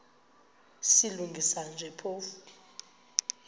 silungisa nje phofu